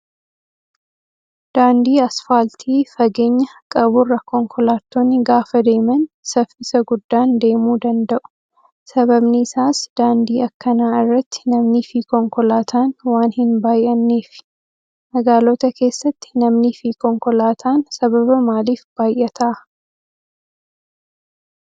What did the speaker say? Daandii asfaaltii fageenya qaburra konkolaattonni gaafa deeman saffisa guddan deemuu danda'u. Sababni isaas daaandii akkanaa irratti namnii fi konkolaataan waan hin baay'anneefi. Magaalota keessatti namnii fi konkolaataan sababa maaliif baay'ataa?